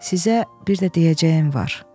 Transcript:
Sizə bir də deyəcəyim var.